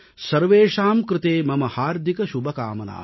सर्वेषां कृते मम हार्दिकशुभकामना